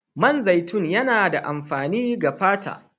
Man zaitun yana da amfani ga fata.